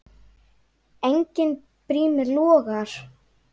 Enginn brími logar.